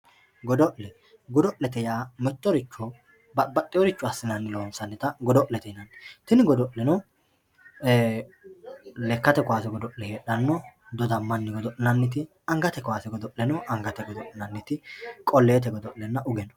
Godolle godolete yaa mitoricho babaxeworicho asinani loonsani godolete yinani tini godoleno lekate kaase godole no